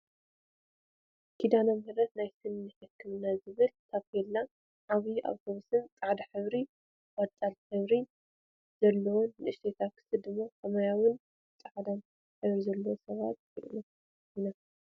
ኪዳነ ምህረት ናይ ስኒ ሕክምና ዝብል ታቤላን ዓባይ ኣተውስን ፃዕዳ ሕብሪን ቆፃል ሕብርን ዘለዋን ንእሽተይ ታክሲ ድማ ሰማያዊን ፃዕዳን ሕብሪዘለዎን ሰባት ንርኢ ኣለና።